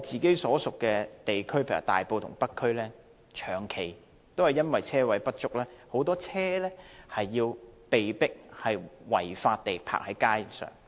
在我的選區大埔和北區，長期因為車位不足，很多車輛被迫違法停泊在街上。